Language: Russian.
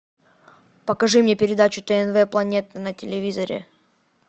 покажи мне передачу тнв планета на телевизоре